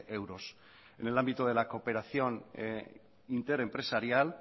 euros en el ámbito de la cooperación interempresarial